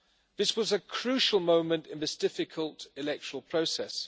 This was a crucial moment in this difficult electoral process.